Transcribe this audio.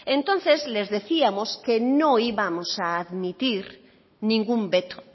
entonces les decíamos que no íbamos a admitir ningún veto